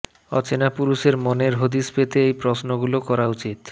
অচেনা পুরুষের মনের হদিশ পেতে এই প্রশ্নগুলো করা উচিত